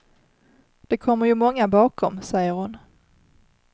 Det kommer ju många bakom, säger hon.